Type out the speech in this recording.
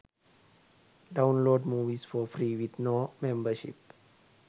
download movies for free with no membership